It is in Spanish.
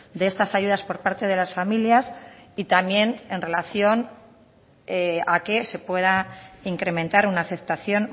de estas ayudas por parte de las familias y también en relación a que se pueda incrementar una aceptación